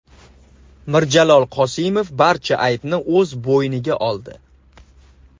Mirjalol Qosimov barcha aybni o‘z bo‘yniga oldi.